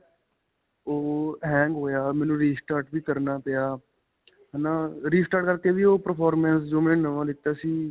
ਓਹੋ hang ਹੋਇਆ ਮੈਨੂੰ restart ਵੀ ਕਰਨਾ ਪਿਆ, ਹੈ ਨਾ. restart ਕਰਕੇ ਵੀ ਓਹ performance ਮੈਂ ਨਵਾਂ ਲਿੱਤਾ ਸੀ.